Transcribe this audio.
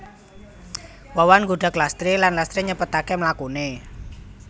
Wawan nggudag Lastri lan Lastri nyepetaké mlakuné